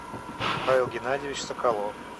павел геннадьевич соколов